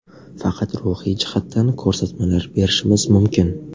Faqat ruhiy jihatdan ko‘rsatmalar berishimiz mumkin.